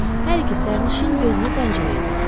Hər iki sərnişin gözünü pəncərəyə dikdi.